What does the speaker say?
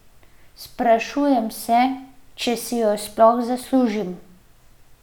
Sprašujem se, če si jo sploh zaslužim.